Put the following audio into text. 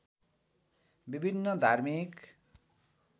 विभिन्न धार्मिक